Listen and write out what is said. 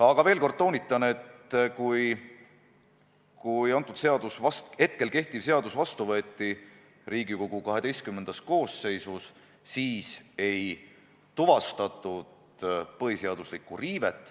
Aga toonitan veel kord: kui kehtiv seadus Riigikogu XII koosseisus vastu võeti, siis ei tuvastatud põhiseaduslikku riivet.